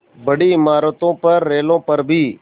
बड़ी इमारतों पर रेलों पर भी